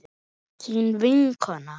Þín vinkona